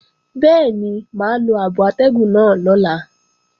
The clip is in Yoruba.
Bẹ́ẹ̀ni mà á lo abo atẹ́gùn náà lọ́la